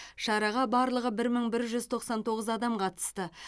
шараға барлығы бір мың бір жүз тоқсан тоғыз адам қатысты